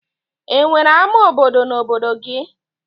E nwere ama obodo na obodo gị?